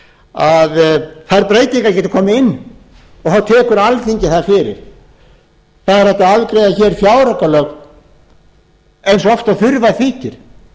að þær breytingar geti komið inn og þá tekur alþingi það fyrir það er hægt að afgreiða hér fjáraukalög eins oft og þurfa þykir